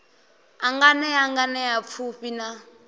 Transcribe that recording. a nganea nganea pfufhi na